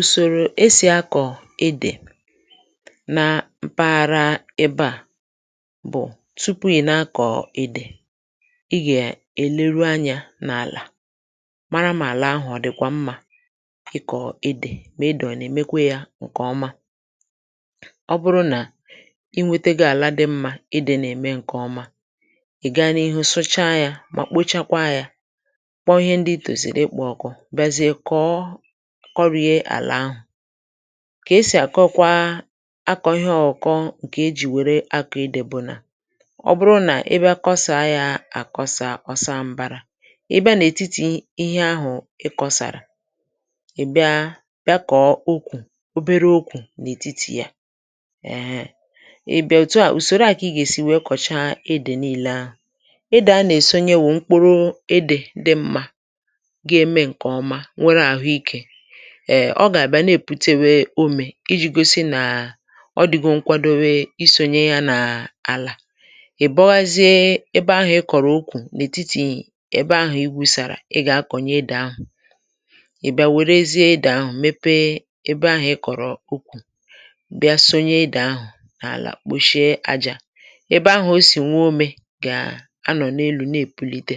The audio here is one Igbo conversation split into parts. Usòrò e sì akọ̀ édè na mpaghara ebe à bụ̀; tupu ị̀ na-akọ édè i gà-èleru anyȧ n’àlà mara mà àlà ahụ̀ ọ dị̀ kwa mmà ịkọ̀ édè, mà édè ọ̀ nà-èmekwa yȧ ǹkè ọma. Ọ bụrụ nà i nwete gó àla dị mmȧ édè nà-ème ǹkè ọma, ị̀ ga n’ihu sụchaa yȧ mà kpochakwa yȧ kpọ ihe ndị i tòzìrì ịkpọ̇ ọkụ̇, bia ziẹ́ kọ́ọ́ kọrie álà ahụ̀; kà esì àkọkwa akọ̀ ihe ọ̇kọ̇ ǹkè ejì wère akọ̇ édè bụ̀ nà ọ bụrụ nà ị bịa kọsàa yȧ àkọsà ọ̀ saa mbȧrȧ, ị bịa n’ètitì ihe ahụ̀ ị kọsàrà ị̀ bịa bịa kọ̀ọ ukwù obere ukwù n’ètitì yà. Éhe ị bịa òtù a ùsòro a kà ị gà-èsi wèe kọ̀cha éde níílè ahụ̀. Édè a nà-èsonye wụ̀ mkpụrụ éde dị mmȧ ga-eme nkè ọma nwérè ahụ ịke, è ọ gà-àbịa na-èpute wėė ụ́mè iji̇ gosi nà ọ dịgo nkwadowė isònye ya n’àlà; ì bọghazie ebe ahụ̀ ị kọ̀rọ̀ ụkwu n’ètitì èbe ahụ̀ igwùsàrà ị gà-akọ̀nyè édè ahụ̀; ì bịa wèrezie édè ahụ̀ mepe ebe ahụ̇ ị kọ̀rọ̀ ụ́kwu; bịa sonye édè ahụ̀ n’àlà kpòshie àjà, ebe ahụ̇ o sì nwe ụ́me gà-anọ̀ n’elu nà-èpùlite.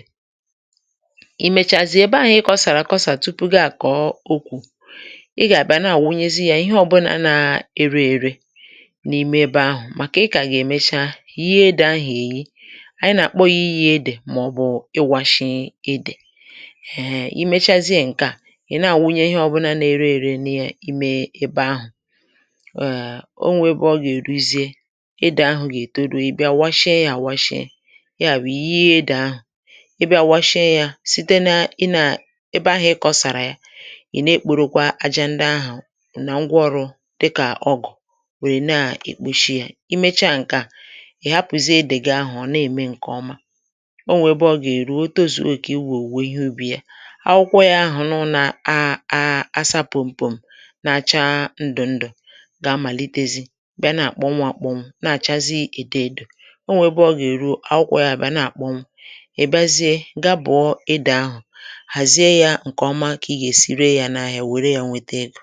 Ị mecháziè ébé ahụ ịkọsárà akọsa tupụ gị-akọ okwụ̀, ị gà-àbịa na-àwụnyezi yȧ ihe ọ̇bụ̇na na-ere ere n’ime ebe ahụ̀; màkà ị kà ga-èmecha yie edè ahụ̀ èyi ànyị nà-àkpọ yȧ ịyì édè màọ̀bụ̀ ịwȧshị édè. Éhè ị mechazie ǹke à ì na-àwụnye ihe ọbụnȧ na-ere ere n’ịme ebe ahụ̀; um o nwè ebe ọ gà-èruzie édè ahụ̀ gà- ètoru Ị bià washie yȧ àwashie, ya bụ̀ yịè édè ahụ̀ Ị bịà washie yȧ site na ị nà ebe ahụ̀ ị kọ̀sàrà ya, ị na-ekporokwa ájá ndị ahụ nà ngwaọrụ̇ dịkà ọgụ̀ wèrè na-èkposhi yȧ. Ị mecha ǹkè a, i hapụ̀zie édè gị̀ ahụ̀ ọ̀ na-ème ǹkè ọma; o nwè ebe ọ gà-èru o tozuo ókè ịwò owụwè ihe ubì ya akwụkwọ yȧ ahụ̀ nụ na a a asa pụ̀mpụ̀m na-achaa ndù ndù ga-amàlitezi bịa na-àkpọ nwụ akpọnwụ na-àchazi èdò èdò; o nwè ebe ọ gà-èru akwụkwọ yȧ bìa nà-àkpọ nwụ, ị bịa zie gaa bùọ édè ahụ̀ háziè yà ǹkè ọma, ka ị ga-ésị réé ya ná ahịa wèrè yà nweta égo.